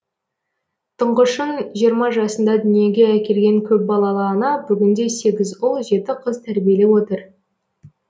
тұңғышын жиырма жасында дүниеге әкелген көпбалалы ана бүгінде сегіз ұл жеті қыз тәрбиелеп отыр